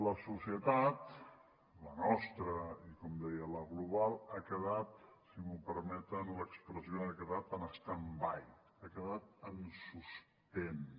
la societat la nostra i com deia la global ha quedat si em permeten l’expressió en stand by ha quedat en suspens